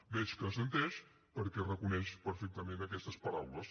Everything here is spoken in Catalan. veig que assenteix perquè reconeix perfectament aquestes paraules